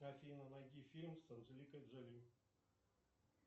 афина найди фильм с анджелиной джоли